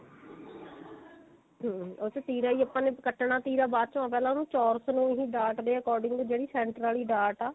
hm ਉਹਦੇ ਵਿੱਚ ਤੀਰਾ ਹੀ ਆਪਾਂ ਨੇ ਕੱਟਣਾ ਤੀਰਾ ਬਾਅਦ ਚੋਂ ਪਿਹਲਾਂ ਉਹਨੂੰ ਚੋਰਸ ਨੂੰ ਡਾਟ ਦੇ according ਜਿਹੜੀ center ਆਲੀ ਡਾਟ ਆ